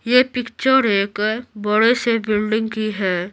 ये पिक्चर एक बड़े से बिल्डिंग की है।